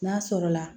N'a sɔrɔla